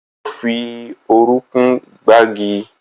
Ó fi orúnkún gbági